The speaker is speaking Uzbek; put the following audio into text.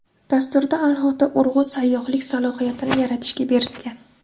Dasturda alohida urg‘u sayyohlik salohiyatini yaratishga berilgan.